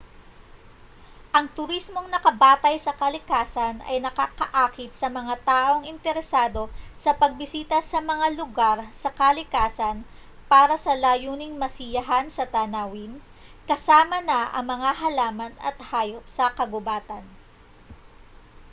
ang turismong nakabatay sa kalikasan ay nakakaakit sa mga taong interesado sa pagbisita sa mga lugar sa kalikasan para sa layuning masiyahan sa tanawin kasama na ang mga halaman at hayop sa kagubatan